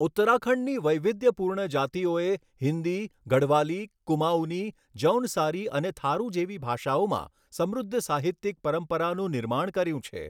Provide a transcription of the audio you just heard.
ઉત્તરાખંડની વૈવિધ્યપૂર્ણ જાતિઓએ હિન્દી, ગઢવાલી, કુમાઉની, જૌનસારી અને થારુ જેવી ભાષાઓમાં સમૃદ્ધ સાહિત્યિક પરંપરાનું નિર્માણ કર્યું છે.